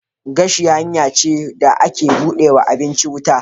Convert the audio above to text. Gashi hanya ce da ake bude ma abincin wuta.